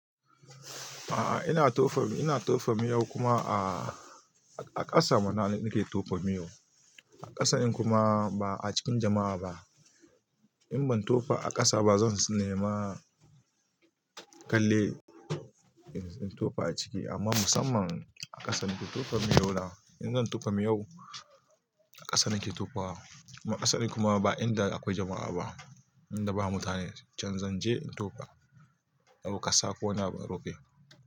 A'a ina tofa mimiyau kuma miyau aah akasa mana na ke tofa miyau a ƙasa din kuma ba a cikin jama'a ba. In ban tofa a ƙasa ba zan nema kallai in tofa a ciki amma musamman a ƙasa nake tofa miyau na. In zan tofa miyau a ƙasa nake tofawa. Kuma ƙasan kuma ba inda akwai jama'a ba. Inda ba mutane can zan je in tofa. A bukasa ko ina ban rufe.